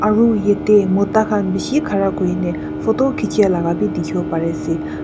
aru yate mota khan bishi khara kurina photo khichae la bi dikhiase.